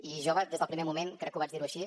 i jo des del primer moment crec que ho vaig dir així